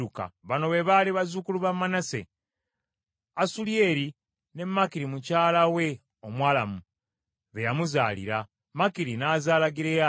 Bano be baali bazzukulu ba Manase: Asuliyeri ne Makiri mukyala we Omwalamu. Be yamuzaalira. Makiri n’azaala Gireyaadi.